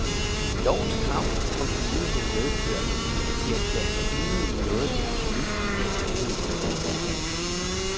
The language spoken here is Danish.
Lovens krav om enighed medfører, at de erklærer sig enige i noget, de absolut ikke er enige i.